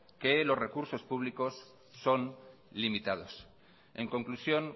que los recursos públicos son limitados en conclusión